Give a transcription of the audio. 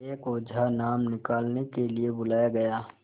एक ओझा नाम निकालने के लिए बुलाया गया